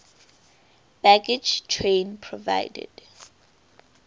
baggage train provided